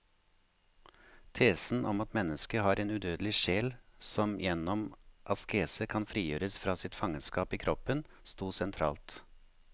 Tesen om at mennesket har en udødelig sjel som gjennom askese kan frigjøres fra sitt fangenskap i kroppen, stod sentralt.